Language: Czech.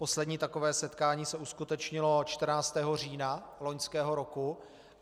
Poslední takové setkání se uskutečnilo 14. října loňského roku.